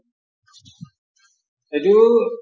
সেইটো